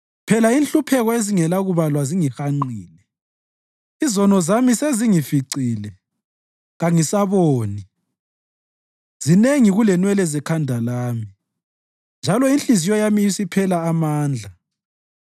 Phela inhlupheko ezingelakubalwa zingihanqile; izono zami sezingificile, kangisaboni. Zinengi kulenwele zekhanda lami, njalo inhliziyo yami isiphela amandla.